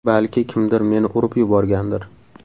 Balki kimdir meni urib yuborgandir.